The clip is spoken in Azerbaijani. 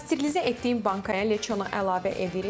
Pasterlizə etdiyim bankaya leçonu əlavə edirik.